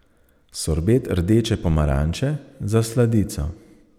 Sorbet rdeče pomaranče za sladico.